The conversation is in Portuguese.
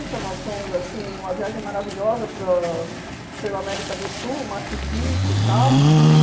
Nós fomos, assim, uma viagem maravilhosa para a pela América do Sul, Machu Picchu e tal.